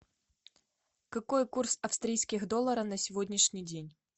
какой курс австрийских доллара на сегодняшний день